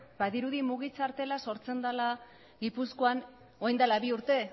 badirudi mugi txartela sortzen dala gipuzkoan orain dala bi urte